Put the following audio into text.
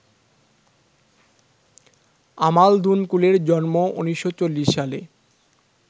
আমাল দুনকুলের জন্ম ১৯৪০ সালে